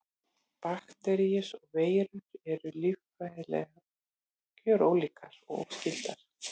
Bakteríur og veirur eru líffræðilega gjörólíkar og óskyldar.